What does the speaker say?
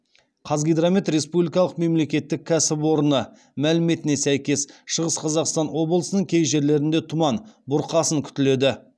қазгидромет республикалық мемлекеттік кәсіпорны мәліметіне сәйкес шығыс қазақстан облысының кей жерлерінде тұман бұрқасын күтіледі